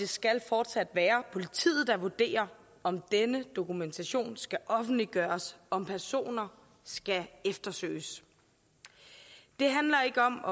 skal fortsat være politiet der vurderer om denne dokumentation skal offentliggøres om personer skal eftersøges det handler ikke om